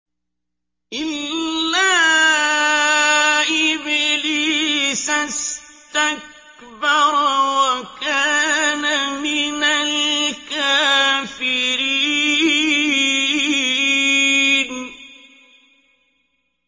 إِلَّا إِبْلِيسَ اسْتَكْبَرَ وَكَانَ مِنَ الْكَافِرِينَ